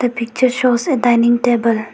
The picture shows a dining table.